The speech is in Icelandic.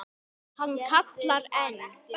Hann kallar enn.